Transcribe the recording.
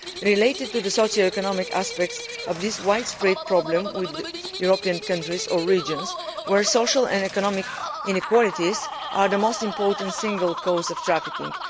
It relates to the socio economic aspects of this widespread problem with European countries or regions where social and economic inequalities are the most important single cause of trafficking.